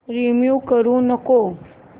remove करू नको